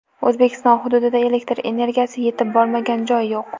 O‘zbekiston hududida elektr energiyasi yetib bormagan joy yo‘q.